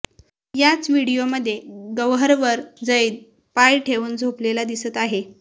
याच व्हिडीओमध्ये गौहरवर झैद पाय ठेवून झोपलेला दिसत आहे